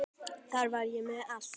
Þar var ég með allt.